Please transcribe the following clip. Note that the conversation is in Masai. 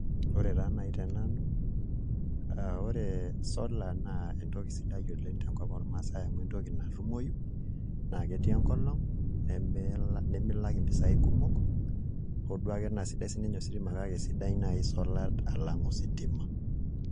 Ore taa naai tenanu aa ore solar naa entoki sidai oleng' tenkoop ormaasai amu entoki natumoyu naa ketii enkolong' nemilak mpisaai kumok hoo duo ake naa sidai siinye ositima kake sidai naai solar alang' ositima.